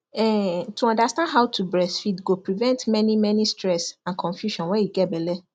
um to understand how to breastfeed go prevent many many stress and confusion when you get belle